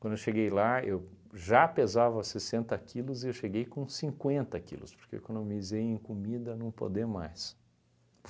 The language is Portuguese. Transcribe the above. Quando eu cheguei lá, eu já pesava sessenta quilos e eu cheguei com cinquenta quilos, porque eu economizei em comida não poder mais.